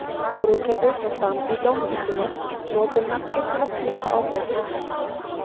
Brúðkaupið fór fram í Dómkirkjunni, flotinn mættur til að pípa á þau.